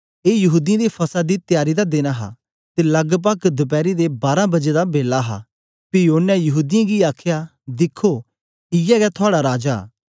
ए यहूदीयें दे फसह दी त्यारी दा दिन हा ते लगपग दपैरी दे बारां बजे दा बेला हा पी ओनें यहूदीयें गी आखया दिखो इयै गै थुआड़ा राजा